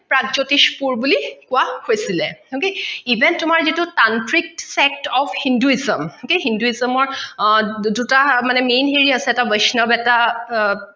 প্ৰাগজ্যোতিষপুৰ বুলি কোৱা হৈছিলে okay event তোমাৰ যিটো tantric fact of hinduism, okay hinduism অৰ দুটা main হেৰি আছে, এটা বৈষ্ণৱ এটা